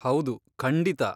ಹೌದು, ಖಂಡಿತಾ!